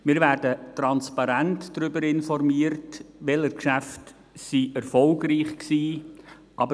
Wir werden transparent darüber informiert, welche Geschäfte erfolgreich waren.